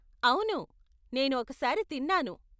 అవును, నేను ఒకసారి తిన్నాను.